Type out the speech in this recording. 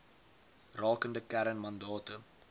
rakende kern mandate